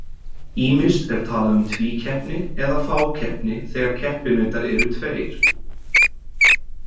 Ýmist er talað um tvíkeppni eða fákeppni þegar keppinautar eru tveir.